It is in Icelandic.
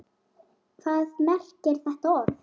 Hvað merkir þetta orð?